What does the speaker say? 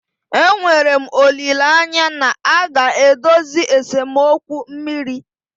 Enwere m olileanya na a ga-edozi esemokwu mmiri.